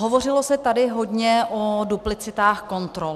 Hovořilo se tady hodně o duplicitách kontrol.